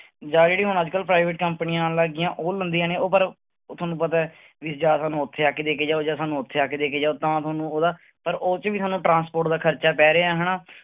ਜਾਂ ਜਿਹੜੀ ਹੁਣ ਅੱਜ ਕੱਲ੍ਹ private ਕੰਪਨੀਆਂ ਆਉਣ ਲੱਗ ਗਈਆਂ, ਉਹ ਲੈਂਦੀਆਂ ਨੇ ਉਹ ਪਰ ਉਹ ਤੁਹਾਨੂੰ ਪਤਾ ਹੈ ਵੀ ਜਾਂ ਸਾਨੂੰ ਉੱਥੇ ਆ ਕੇ ਦੇ ਕੇ ਜਾਓ ਜਾਂ ਸਾਨੂੰ ਉੱਥੇ ਆ ਕੇ ਦੇ ਕੇ ਜਾਓ ਤਾਂ ਤੁਹਾਨੂੰ ਉਹਦਾ, ਪਰ ਉਹ ਚ ਸਾਨੂੰ transport ਦਾ ਖ਼ਰਚਾ ਪੈ ਰਿਹਾ ਹਨਾ।